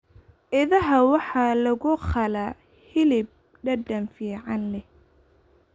Idaha waxaa lagu qalaa hilib dhadhan fiican leh.